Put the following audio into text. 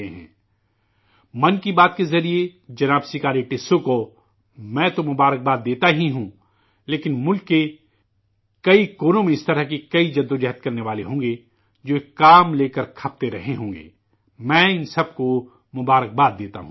'من کی بات' کے ذریعہ جناب 'سکاری ٹسو' جی کو میں تو مبارکباد دیتا ہی ہوں، لیکن ملک کے کئی کونے میں اس طرح کئی کامل افراد ہوں گے جو ایک کام لے کر کے کوشاں رہتے ہو ں گے میں ان سب کو بھی مبارکباد دیتا ہوں